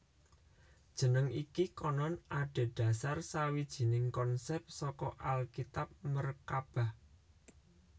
Jeneng iki konon adhedhasar sawijining konsèp saka Alkitab merkabah